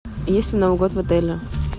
есть ли новый год в отеле